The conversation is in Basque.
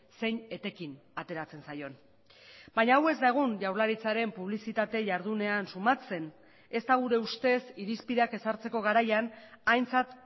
zein etekin ateratzen zaion baina hau ez da egun jaurlaritzaren publizitate jardunean sumatzen ez da gure ustez irizpideak ezartzeko garaian aintzat